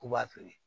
K'u b'a feere